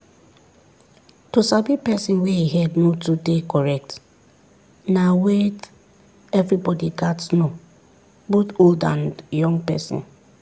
to sabi person wey e head no too dey correct na weyth everybody gats know both old and young person